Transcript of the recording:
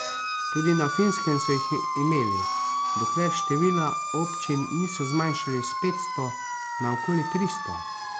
Tudi na Finskem so jih imeli, dokler števila občin niso zmanjšali s petsto na okoli tristo.